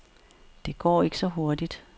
Det går ikke så hurtigt.